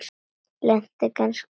Lenti hann kannski í slysi?